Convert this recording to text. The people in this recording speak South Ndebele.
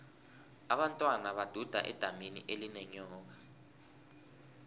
abentwana baduda edamini elinenyoka